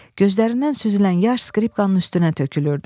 Gözlərindən süzülən yaş skripkanın üstünə tökülürdü.